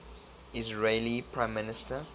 israeli prime minister